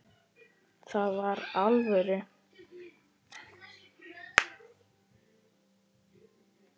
Það var alvöru.